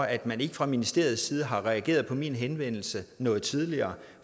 at man ikke fra ministeriets side har reageret på min henvendelse noget tidligere